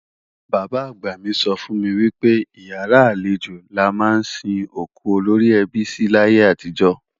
Bàbá-àgbà mi sọ fún mi wípé ìyàrá àlejò la ma ń sin òkú olóríẹbí sí láyé àtijó.